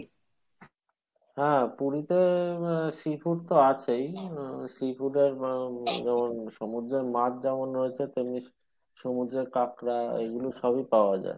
হ্যাঁ পুরীতে আহ sea food তো আছেই, আহ sea food সমুদ্রর মাছ যেমন রয়েছে তেমনি সুমুদ্রর কাঁকড়া এগুলো সবই পাওয়া যাই